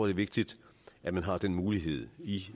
er vigtigt at man har den mulighed i